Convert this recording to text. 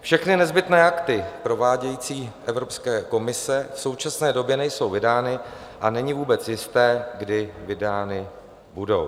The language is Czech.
Všechny nezbytné akty provádějící Evropské komise v současné době nejsou vydány a není vůbec jisté, kdy vydány budou.